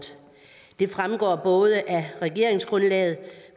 det fremgår både af regeringsgrundlaget